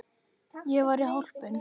Ég var hólpin.